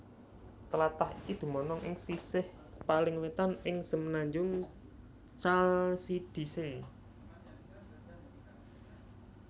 Tlatah iku dumunung ing sisih paling wétan ing semenanjung Chalcidice